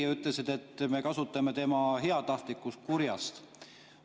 Ta ütles, et me kasutame tema heatahtlikkust kurjast.